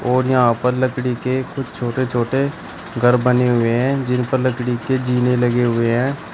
और यहां पर लकड़ी के कुछ छोटे छोटे घर बने हुए हैं जिन पर लकड़ी के जीने लगे हुए हैं।